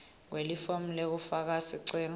kwelifomu lekufaka sicelo